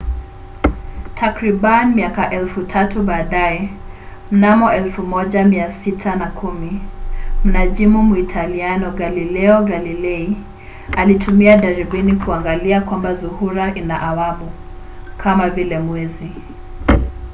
takribani miaka elfu tatu baadaye mnamo 1610 mnajimu muitaliano galileo galilei alitumia darubini kuangalia kwamba zuhura ina awamu kama vile mwezi